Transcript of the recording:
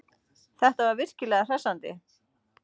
Þetta var virkilega hressandi.